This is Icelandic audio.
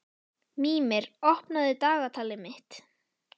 Mímir, opnaðu dagatalið mitt.